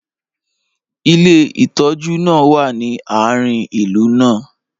ilé ìtójú náà wa ni aarin ìlú náà